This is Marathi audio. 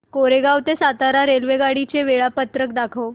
कोरेगाव ते सातारा रेल्वेगाडी चे वेळापत्रक दाखव